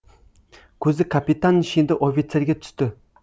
көзі капитан шенді офицерге түсті